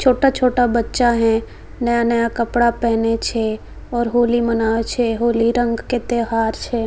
छोटा-छोटा बच्चा है नया-नया कपड़ा पहने छै और होली मना छै होली रंग के त्योहार छै।